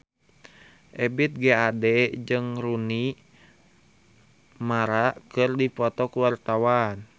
Ebith G. Ade jeung Rooney Mara keur dipoto ku wartawan